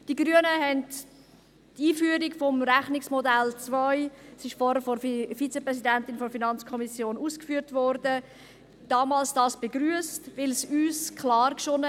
Die Grünen haben die Einführung des Rechnungsmodells 2 – es wurde vorher von der Vizepräsidentin der FiKo ausgeführt – damals begrüsst, weil es uns klar erschien.